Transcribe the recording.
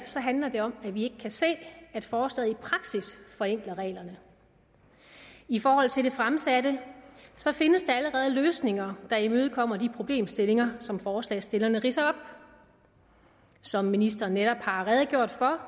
handler det om at vi ikke kan se at forslaget i praksis forenkler reglerne i forhold til det fremsatte findes der allerede løsninger der imødekommer de problemstillinger som forslagsstillerne ridser op som ministeren netop har redegjort for